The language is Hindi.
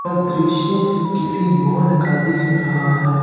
और दृश्य किसी मॉल का दिख रहा है।